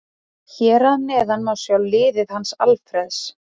Hér að neðan má sjá liðið hans Alfreðs.